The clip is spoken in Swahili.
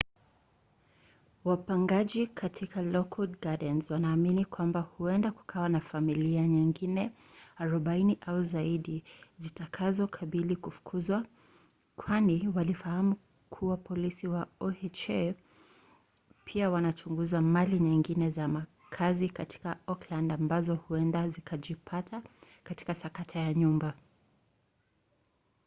wapangaji katika lockwood gardens wanaamini kwamba huenda kukawa na familia nyingine 40 au zaidi zitakazokabili kufukuzwa kwani walifahamu kuwa polisi wa oha pia wanachunguza mali nyingine za makazi katika oakland ambazo huenda zikajipata katika sakata ya nyumba